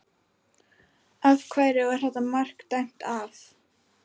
Af hverju var þetta mark dæmt af?